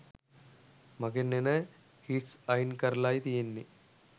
මගෙන් එන හිට්ස් අයින් කරලායි තියෙන්නේ.